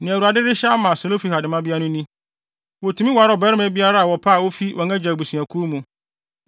Nea Awurade rehyɛ ama Selofehad mmabea no ni: Wotumi ware ɔbarima biara a wɔpɛ a ofi wɔn agya abusuakuw mu.